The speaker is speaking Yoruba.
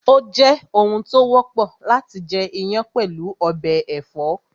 Ó jẹ́ oun tó wọ́pọ̀ láti jẹ iyán pẹ̀lú ọbẹ̀ ẹ̀fọ́